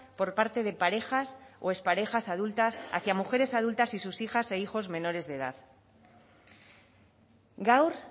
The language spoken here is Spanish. por parte de parejas o exparejas adultas hacia mujeres adultas y sus hijas e hijos menores de edad gaur